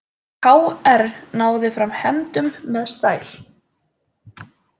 KR náði fram hefndum með stæl